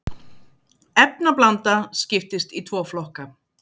efnablanda skiptist í tvo flokka